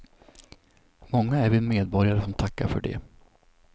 Många är vi medborgare som tackar för det.